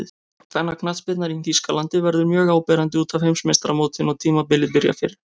Kvennaknattspyrnan í Þýskalandi verður mjög áberandi útaf Heimsmeistaramótinu og tímabilið byrjar fyrr.